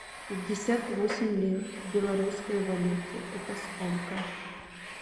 пятьдесят восемь лир в белорусской валюте это сколько